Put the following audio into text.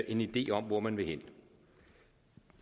en idé om hvor man vil hen